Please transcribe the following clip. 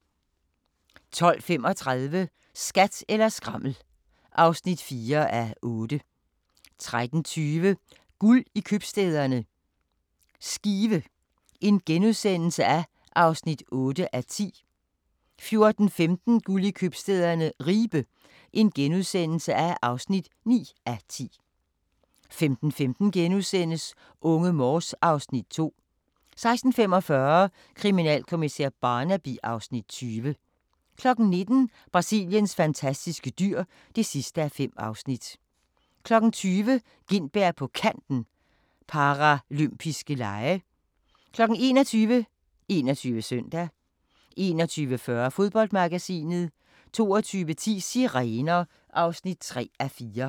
12:35: Skat eller skrammel (4:8) 13:20: Guld i købstæderne – Skive (8:10)* 14:15: Guld i købstæderne - Ribe (9:10)* 15:15: Unge Morse (Afs. 2)* 16:45: Kriminalkommissær Barnaby (Afs. 20) 19:00: Brasiliens fantastiske dyr (5:5) 20:00: Gintberg på Kanten – Paralympiske Lege 21:00: 21 Søndag 21:40: Fodboldmagasinet 22:10: Sirener (3:4)